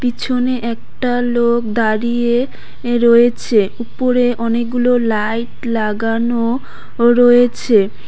পিছনে একটা লোক দাঁড়িয়ে রয়েছে উপরে অনেকগুলো লাইট লাগানো রয়েছে।